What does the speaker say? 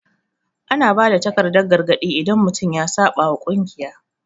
Ana ba da takardan gargadi idan mutum ya saɓa wa kungiya.